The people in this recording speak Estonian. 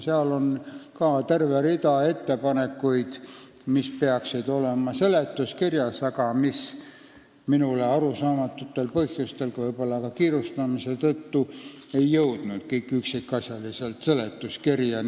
Seal on ka terve rida ettepanekuid, mis peaksid olema seletuskirjas, aga mis minule arusaamatutel põhjustel, võib-olla ka kiirustamise tõttu, kõik üksikasjaliselt seletuskirja ei jõudnud.